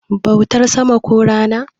bautar sama ko Rana